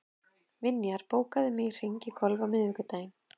Vinjar, bókaðu hring í golf á miðvikudaginn.